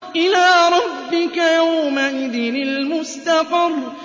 إِلَىٰ رَبِّكَ يَوْمَئِذٍ الْمُسْتَقَرُّ